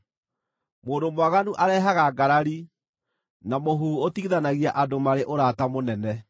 Mũndũ mwaganu arehaga ngarari, na mũhuhu ũtigithanagia andũ marĩ ũrata mũnene.